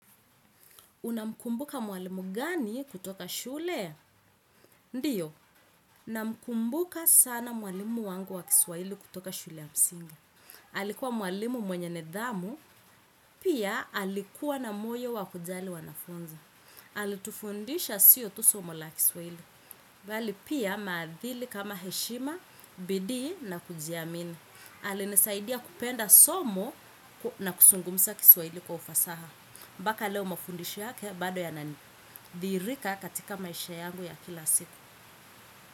Unamkumbuka mwalimu gani kutoka shule? Ndiyo, namkumbuka sana mwalimu wangu wa kiswahili kutoka shule ya msingi. Alikuwa mwalimu mwenye nidhamu, pia alikuwa na moyo wa kujali wanafunzi. Alitufundisha sio tu somo la kiswaili. Bali pia maadili kama heshima, bidii na kujiamini. Alinisaidia kupenda somo na kuzungumza kiswahili kwa ufasaha. Mpaka leo mafundisho yake bado yanadhihirika katika maisha yangu ya kila siku.